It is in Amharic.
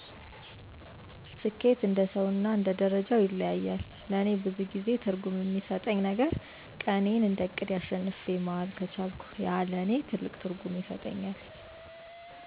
ስኬት እንደሰው እና እንደ ደርጃው ይለያያል ለእኔ ብዙ ጊዜ ትርጉም የሚሰጠኝ ነገረ ቀኔን እንደ እቅዴ አሸንፌ መዋል ከቻልኩ ያ ለእኔ ትልቅ ትርጉም ይሰጠኛል።